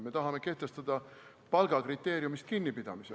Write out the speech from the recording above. Me tahame kehtestada palgakriteeriumist kinnipidamise.